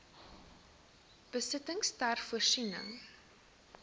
besittings ter voorsiening